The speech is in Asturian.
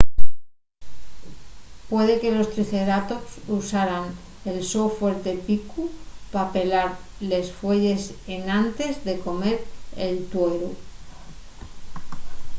puede que los triceratops usaran el so fuerte picu pa pelar les fueyes enantes de comer el tueru